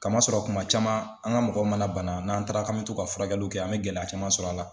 Kama sɔrɔ kuma caman an ka mɔgɔw mana bana n'an taara k'an mi t'o ka furakɛliw kɛ an mɛ gɛlɛya caman sɔrɔ a la.